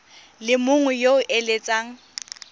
le mongwe yo o eletsang